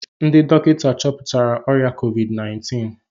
Ndị dọkịta chọpụtara ọrịa COVID-19